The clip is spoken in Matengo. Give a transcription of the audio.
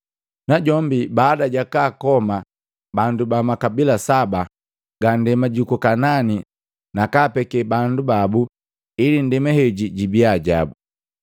Najombi baada jakaakoma bandu ba makabila saba ga ndema juku Kaanani nakaapeke bandu babu ili ndema heji jibia jabu.